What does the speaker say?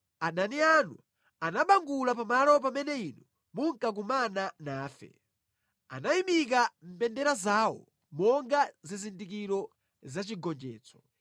Adani anu anabangula pa malo pamene Inu munkakumana nafe; anayimika mbendera zawo monga zizindikiro zachigonjetso.